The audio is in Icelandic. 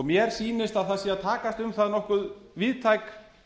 mér sýnist að það sé að takast um það nokkuð víðtæk